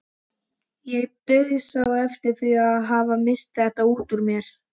Ég dauðsá eftir að hafa misst þetta út úr mér.